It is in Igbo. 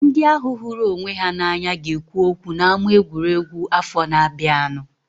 Ndị ahu hụrụ onwe ha na anya ga ekwu okwu na ama egwuregwu afọ na abianu